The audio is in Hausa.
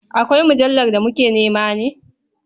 Akwai mujallar da muke nema ne?